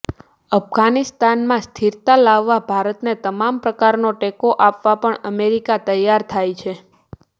અફઘાનિસ્તાનમાં સ્થિરતા લાવવા ભારતને તમામ પ્રકારનો ટેકો આપવા પણ અમેરિકા તૈયાર થાય છે